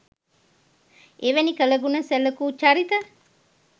එවැනි කළ ගුණ සැලකූ චරිත